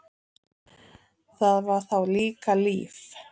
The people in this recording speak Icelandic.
Það var þá líka líf!